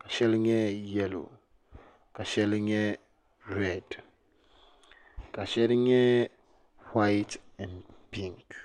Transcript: ka sheli nyɛ yelo ka sheli reedi ka sheli nyɛ waati en pinki